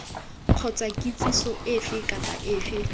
kgotsa kitsiso efe kapa efe